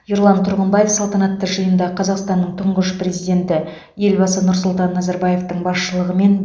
ерлан тұрғымбаев салтанатты жиында қазақстанның тұңғыш президенті елбасы нұрсұлтан назарбаевтың басшылығымен